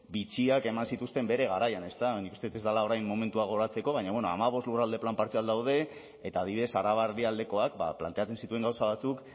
bitxiak eman zituzten bere garaian ezta nik uste dut ez dela orain momentua gogoratzeko baina bueno hamabost lurralde plan partzial daude eta adibidez arabar erdialdekoak planteatzen zituen gauza batzuk